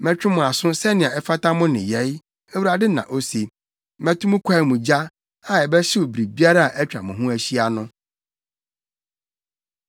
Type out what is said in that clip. Mɛtwe mo aso sɛnea ɛfata mo nneyɛe, Awurade na ose. Mɛto mo kwae mu gya, a ɛbɛhyew biribiara a atwa mo ho ahyia no.’ ”